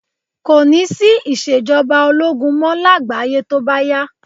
Kò ní sí ìṣèjọba ológun mọ́ lágbàáyé tó bá yá